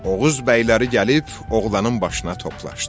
Oğuz bəyləri gəlib oğlanın başına toplaşdılar.